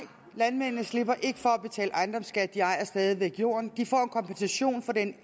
landmændene slipper ikke for at betale ejendomsskat de ejer stadig væk jorden de får en kompensation for den